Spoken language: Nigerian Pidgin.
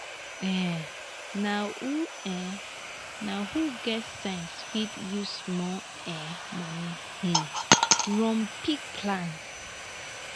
um na who um na who get sense fit use small um money um run big plan.